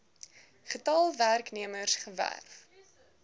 getal werknemers gewerf